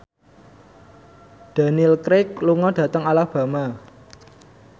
Daniel Craig lunga dhateng Alabama